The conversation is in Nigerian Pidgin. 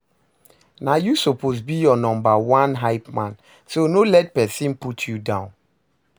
Na yu soppose be yur nomba one hypeman so no let pesin put yu down